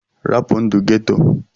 Rapụ ndụ ghetto!!